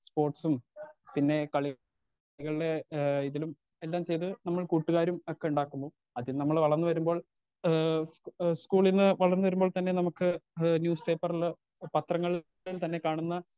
Speaker 2 സ്പോർട്സും പിന്നെ കളികൾടെ ഏ ഇതിലും എല്ലാം ചെയ്ത് നമ്മൾ കൂട്ടുകാരും ഒക്കെ ഇണ്ടാക്കുന്നു അത് നമ്മൾ വളർന്ന് വരുമ്പോൾ ഏ സ്ക് സ്കൂളിന്ന് വളർന്ന വരുമ്പോൾ തന്നെ നമുക്ക് ഇ ന്യൂസ് പേപ്പറില് പത്രങ്ങളിൽ തന്നെ കാണുന്ന.